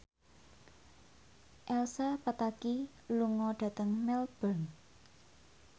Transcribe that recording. Elsa Pataky lunga dhateng Melbourne